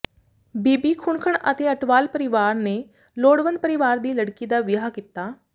ਬੀਬੀ ਖੁਣਖੁਣ ਤੇ ਅਟਵਾਲ ਪਰਿਵਾਰ ਨੇ ਲੋੜਵੰਦ ਪਰਿਵਾਰ ਦੀ ਲੜਕੀ ਦਾ ਵਿਆਹ ਕੀਤਾ